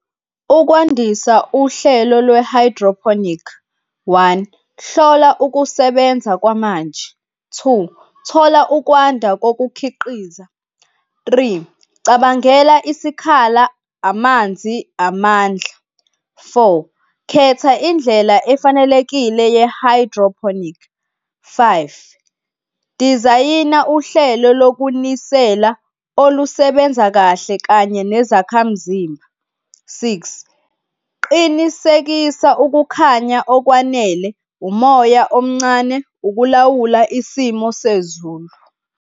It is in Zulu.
Ukwandisa uhlelo lwe-hydroponic, one, hlola ukusebenza kwamanje. Two, thola ukwanda kokukhiqiza. Three, cabangela isikhala, amanzi, amandla. Four, khetha indlela efanelekile ye-hydroponic. Five, dizayina uhlelo lokunisela olusebenza kahle kanye nezakhamzimba. Six, qinisekisa ukukhanya okwanele, umoya omncane, ukulawula isimo sezulu.